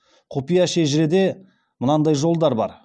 құпия шежіреде мындай жолдар бар